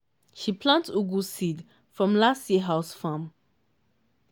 she plant ugu seed from last year house farm.